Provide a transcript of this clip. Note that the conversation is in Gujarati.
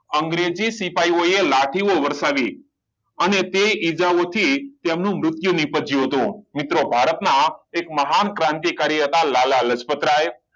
અંગ્રેજી સિપાહીઓએ લાઠી વરસાવી અને તે ઇજાઓથી તેમનું મૃત્યુ નીપજ્યું હતું મિત્રો ભારત ના એક મહાન ક્રાંતિકારી હતા લાલા લજપતરાય